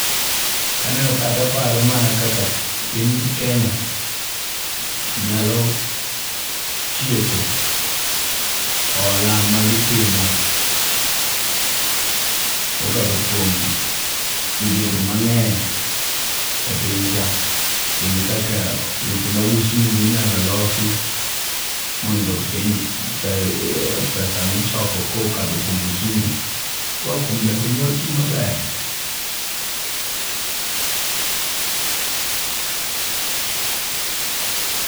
Ka aneno ka to aparo mana kaka piny Kenya nyalo tieko hola ma gitimo. Mokadho kuom migepe mang'eny e piny ka. Kendo kaka weche mad usiru inyalo losi mondo pesa michoko kokadho kuom usuru koa kuom jopiny oti maber.